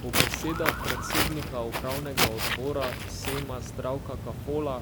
Po besedah predsednika upravnega odbora sejma Zdravka Kafola